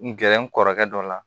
N gɛrɛ n kɔrɔkɛ dɔ la